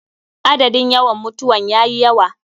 Adadin yawan mutawan yayi yawa.